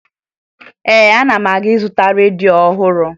Ee, ana m aga ịzụta redio ọhụrụ